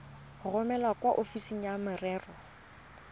romele kwa ofising ya merero